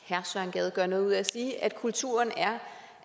gade gør noget ud af at sige at kulturen er